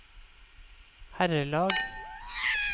herrelag